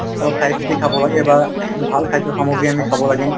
অলপ চাইচিতি খাব লাগে বা ভাল খাদ্য সামগ্ৰী আমি খাব লাগে